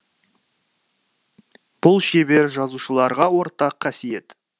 бұл шебер жазушыларға ортақ қасиет